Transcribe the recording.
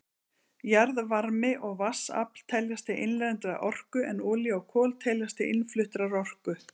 Jarðvarmi og vatnsafl teljast til innlendrar orku en olía og kol teljast til innfluttrar orku.